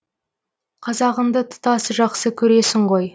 қазағыңды тұтас жақсы көресің ғой